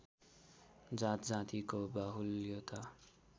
जात जातिको बाहुल्यता